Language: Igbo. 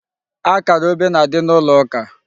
Akara obe na-adị n'ụlọ ụka.